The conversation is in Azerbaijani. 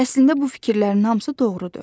Əslində bu fikirlərin hamısı doğrudur.